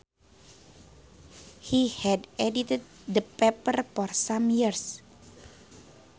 He had edited the paper for some years